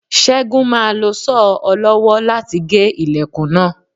Ṣẹ́gun máa lo Sọ́ọ̀ ọlọ́wọ́ láti gé ilẹ̀kùn náà.